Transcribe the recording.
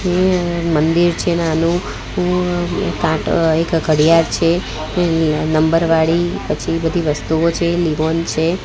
મંદિર છે નાનું કાંટો એક ઘડિયાળ છે નંબર વાળી પછી બધી વસ્તુઓ છે લીવોન છે.